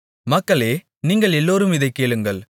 மக்களே நீங்கள் எல்லோரும் இதைக் கேளுங்கள்